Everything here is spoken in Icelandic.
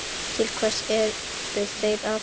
Til hvers eru þeir að þessu?